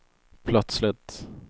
plötsligt